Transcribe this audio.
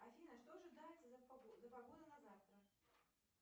афина что ожидается за погода на завтра